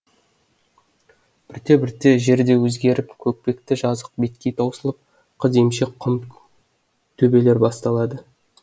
бірте бірте жер де өзгеріп көкпекті жазық беткей таусылып қыз емшек құм төбелер басталады